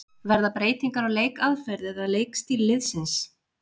Verða breytingar á leikaðferð eða leikstíl liðsins?